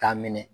K'a minɛ